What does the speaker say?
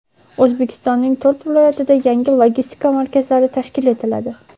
O‘zbekistonning to‘rt viloyatida yangi logistika markazlari tashkil etiladi.